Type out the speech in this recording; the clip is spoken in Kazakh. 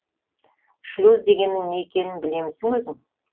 шлюз дегеннің не екенін білемісің өзің